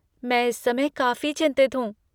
मैं इस समय काफ़ी चिंतित हूँ।